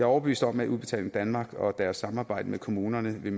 overbevist om at udbetaling danmark og deres samarbejde med kommunerne vil